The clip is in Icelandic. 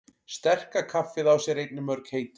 Sterka kaffið á sér einnig mörg heiti.